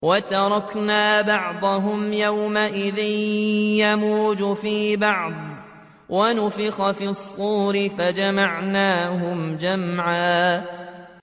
۞ وَتَرَكْنَا بَعْضَهُمْ يَوْمَئِذٍ يَمُوجُ فِي بَعْضٍ ۖ وَنُفِخَ فِي الصُّورِ فَجَمَعْنَاهُمْ جَمْعًا